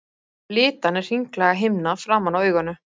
Litan er hringlaga himna framan á auganu.